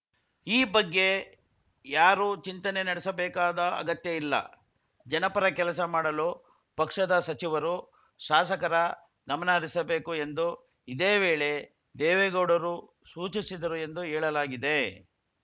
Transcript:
ಈ ಬಗ್ಗೆ ಯಾರು ಚಿಂತನೆ ನಡೆಸಬೇಕಾದ ಅಗತ್ಯ ಇಲ್ಲ ಜನಪರ ಕೆಲಸ ಮಾಡಲು ಪಕ್ಷದ ಸಚಿವರು ಶಾಸಕರ ಗಮನ ಹರಿಸಬೇಕು ಎಂದು ಇದೇ ವೇಳೆ ದೇವೇಗೌಡರು ಸೂಚಿಸಿದರು ಎಂದು ಏಳಲಾಗಿದೆ